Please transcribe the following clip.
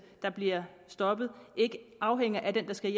der bliver stoppet ikke afhænger af dem der skal